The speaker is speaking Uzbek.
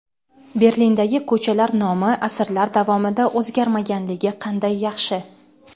Berlindagi ko‘chalar nomi asrlar davomida o‘zgarmaganligi qanday yaxshi.